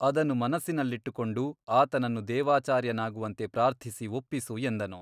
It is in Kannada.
ಅದನ್ನು ಮನಸ್ಸಿನಲ್ಲಿಟ್ಟುಕೊಂಡು ಆತನನ್ನು ದೇವಾಚಾರ್ಯನಾಗುವಂತೆ ಪ್ರಾರ್ಥಿಸಿ ಒಪ್ಪಿಸು ಎಂದನು.